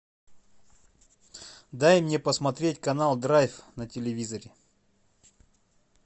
дай мне посмотреть канал драйв на телевизоре